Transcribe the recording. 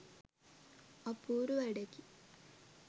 අපූරු වැඩකි